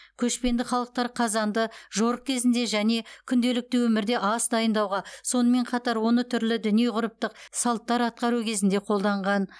көшпенді халықтар қазанды жорық кезінде және күнделікті өмірде ас дайындауға сонымен қатар оны түрлі діни ғұрыптық салттар атқару кезінде қолданған